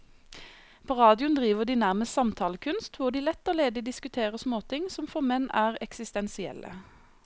På radioen driver de nærmest samtalekunst, hvor de lett og ledig diskuterer småting som for menn er eksistensielle.